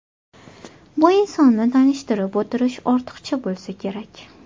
Bu insonni tanishtirib o‘tirish ortiqcha bo‘lsa kerak.